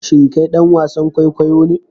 Shin kai dan wasan kwaikwayo ne?